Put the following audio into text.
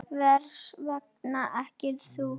Hvers vegna ekki þú?